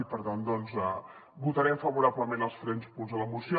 i per tant votarem favorablement els tres punts de la moció